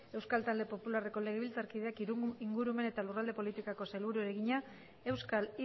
euskal talde popularreko legebiltzarkideak ingurumen eta lurralde politikako sailburuari egina euskal